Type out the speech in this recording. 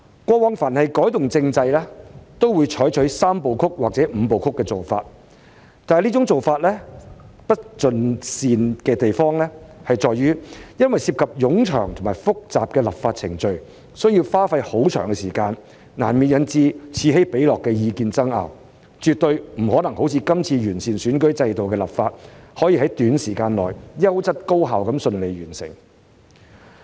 過往凡是改動政制，都會採取"三步曲"或"五步曲"的做法，但這種做法不盡善之處，在於涉及冗長和複雜的立法程序，需要花費很長時間，難免引致此起彼落的意見爭拗，絕對不可能像今次完善選舉制度的立法般，可以在短時間內，優質高效地順利完成。